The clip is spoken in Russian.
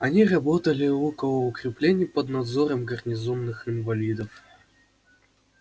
они работали около укреплений под надзором гарнизонных инвалидов